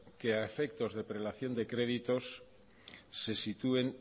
que a efectos de prelación de créditos se sitúen